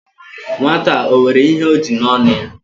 Nwata a, o nwere ihe o ji n'onu ya?